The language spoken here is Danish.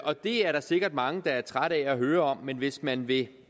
og det er der sikkert mange der er trætte af at høre om men hvis man vil